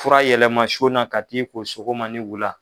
Fura yɛlɛma na ka t'i ko sogoma ni wula